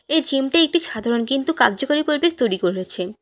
এই জিম -টা একটি সাধারণ কিন্তু কাজ্যকরি পরিবেশ তৈরি করেছে।